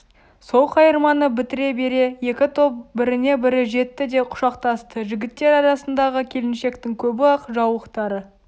сол қайырманы бітіре бере екі топ біріне-бірі жетті де құшақтасты жігіттер арасындағы келіншектің көбі ақ жаулықтары